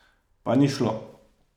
Pa ni šlo.